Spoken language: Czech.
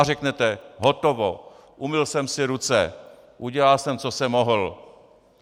A řeknete: hotovo, umyl jsem si ruce, udělal jsem, co jsem mohl.